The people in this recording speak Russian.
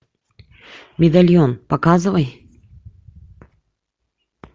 медальон показывай